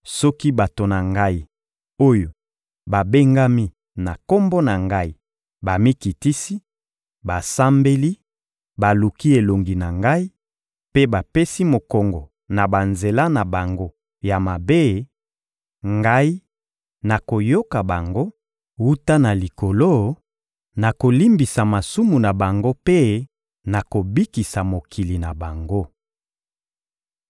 soki bato na Ngai, oyo babengami na Kombo na Ngai bamikitisi, basambeli, baluki elongi na Ngai, mpe bapesi mokongo na banzela na bango ya mabe, Ngai, nakoyoka bango wuta na Likolo, nakolimbisa masumu na bango mpe nakobikisa mokili na bango.